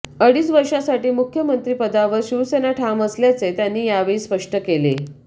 अडीच वर्षांसाठी मुख्यमंत्रीपदावर शिवसेना ठाम असल्याचे त्यांनी यावेळी स्पष्ट केले